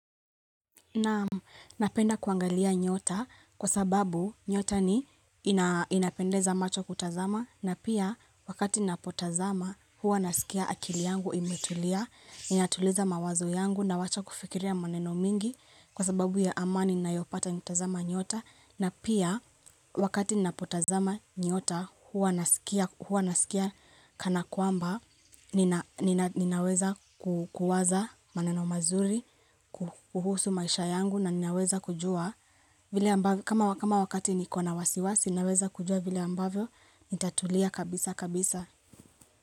Naam napenda kuangalia nyota kwa sababu nyota ni inapendeza macho kutazama na pia wakati napotazama huwa naskia akili yangu imetulia ninatuliza mawazu yangu nawacha kufikiria maneno mingi kwa sababu ya amani nayopata nikitazama nyota na pia wakati napotazama nyota huwa naskia kanakwamba ninaweza kuwaza maneno mazuri, kuhusu maisha yangu na ninaweza kujua kama wakati niko na wasiwasi ninaweza kujua vili ambavyo nitatulia kabisa kabisa.